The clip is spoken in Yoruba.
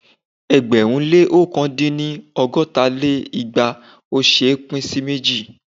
ẹgbẹ̀rún lé ọ̀kan dín ní ọgọ́ta lé igba ò ṣé é pín sí méjì.